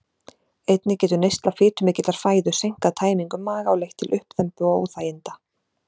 Einnig getur neysla fitumikillar fæðu seinkað tæmingu maga og leitt til uppþembu og óþæginda.